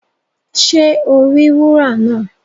Ṣe o ri wúrà náà?